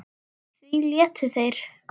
Því létu þeir